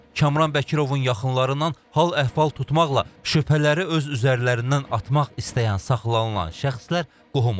Kamran Bəkirovun yaxınlarından hal əhval tutmaqla şübhələri öz üzərlərindən atmaq istəyən saxlanılan şəxslər qohum olublar.